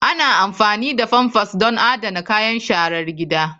Ana amfani da pampers don adana kayan sharar gida.